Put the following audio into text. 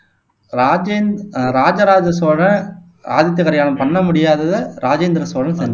ராஜேந் ஆஹ் ராஜராஜ சோழன், ஆதித்த கரிகாலன் பண்ண முடியாததை ராஜேந்திர சோழன் செஞ்